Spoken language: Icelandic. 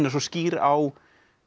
er svo skýr á